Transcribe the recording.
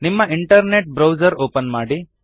ನಿಮ್ಮ internet browser open ಮಾಡಿ